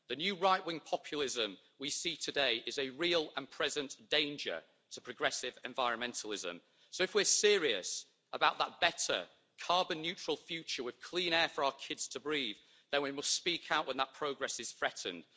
The new right wing populism we see today is a real and present danger to progressive environmentalism, so if we are serious about that better carbon neutral future with clean air for our kids to breathe, then we must speak out when that progress is threatened.